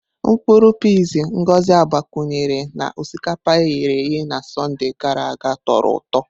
Mkpuru piizi Ngozi agbakwunyere na osikapa e ghere eghe na Sọnde gara aga tọrọ ụtọ.